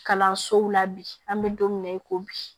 Kalansow la bi an bɛ don min na i ko bi